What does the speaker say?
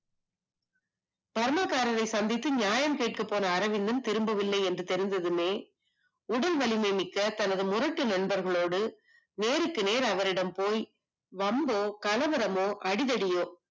Burma காரரை சந்தித்து நியாயம் கேட்கச் சென்ற அரவிந்த் தினையும் திரும்பி வரவில்லை என்றதுமே உடல் வலிமை மிக்க தன் முரட்டு நண்பர்களோடு நேருக்கு நேர் அவனிடம் போய் வம்பு கலவரமோ அடிதடியோ